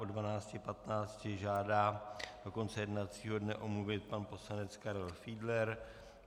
Od 12.15 žádá do konce jednacího dne omluvit pan poslanec Karel Fiedler.